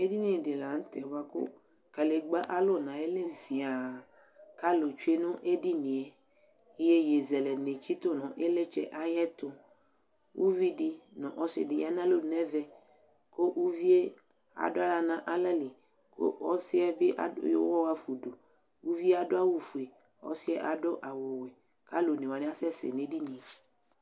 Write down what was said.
edini di lantɛ boa ko kadegba alo no ayili zia ko alo tsue no edinie yeye zele ni tsito no ilitsɛ ayɛto uvi di no ɔse di ya no alɔnu no ɛvɛ ko uvie ado ala no alɛ li ko ɔsiɛ bi ado yɔ uwɔ afa udu uvie ado awu fue ɔsiɛ ado awu wɛ ko alo one wani asɛ sɛ no edinie